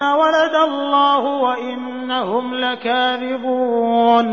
وَلَدَ اللَّهُ وَإِنَّهُمْ لَكَاذِبُونَ